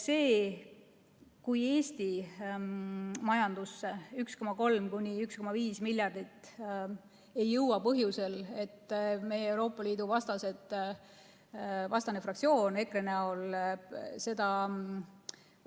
See, kui Eesti majandusse 1,3–1,5 miljardit ei jõua põhjusel, et meie Euroopa Liidu vastane fraktsioon EKRE näol eelnõu